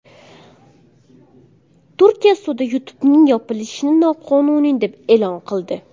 Turkiya sudi YouTube’ning yopilishini noqonuniy deb e’lon qildi.